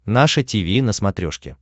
наше тиви на смотрешке